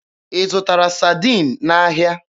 Ị zụtara Sadiin n'ahịa?